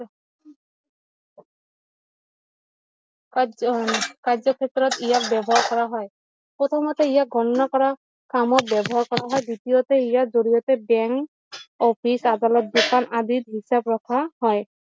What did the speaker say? কাৰ্য কাৰ্য ক্ষেত্ৰত ইয়াক ব্যৱহাৰ কৰা হয় প্ৰথমতে ইয়াক গণনা কৰা কামত ব্যৱহাৰ কৰা হয় দ্বিতীয়তে ইয়াৰ জৰিয়তে বেংক অফিচ আদালত দোকান আদি হিচাপ ৰখা হয়